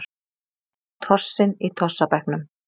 Tossinn í tossabekknum.